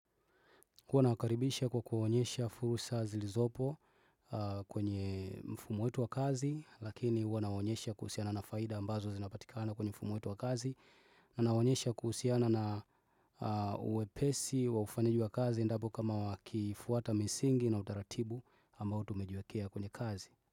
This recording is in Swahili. Huwa nawakaribisha kwa kuwaonesha fursa zilizopo kwenye mfumo wetu wa kazi lakini huwa nawaonesha kuhusiana na faida ambazo zinapatikana kwenye mfumo wetu wa kazi nawaonesha kuhusiana na wepesi wa ufanyaji wa kazi endapo kama wakifuata misingi na utaratibu ambao tumejiwekea kwenye kazi.